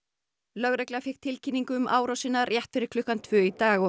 lögregla fékk tilkynningu um árásina rétt fyrir klukkan tvö í dag